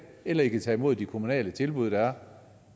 eller i kan tage imod de kommunale tilbud der er